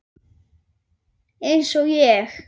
Eins og ég?